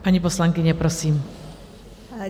Paní poslankyně, prosím.